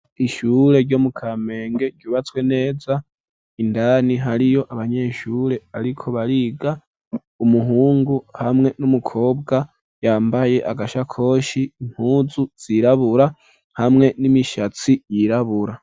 Ishure ryo mu kamenge ryubatswe neza indani hariyo abanyeshure ariko bariga umuhungu hamwe n'umukobwa yambaye agasha koshi impuzu zirabura hamwe n'imishatsi yirabura.